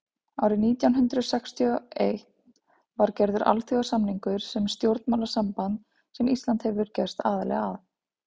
árið nítján hundrað sextíu og einn var gerður alþjóðasamningur um stjórnmálasamband sem ísland hefur gerst aðili að